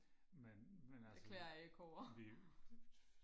men men altså vi vi